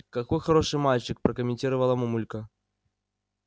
какой хороший мальчик прокомментировала мамулька